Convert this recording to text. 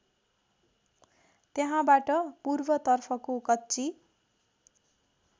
त्यहाँबाट पूर्वतर्फको कच्ची